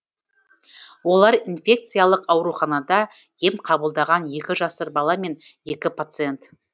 олар инфекциялық ауруханада ем қабылдаған екі жасар бала мен екі пациент